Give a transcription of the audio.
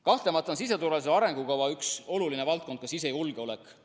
Kahtlemata on siseturvalisuse arengukava üks olulisi valdkondi ka sisejulgeolek.